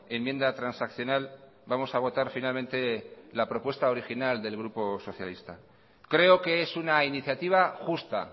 enmienda transaccional vamos a votar finalmente la propuesta original del grupo socialista creo que es una iniciativa justa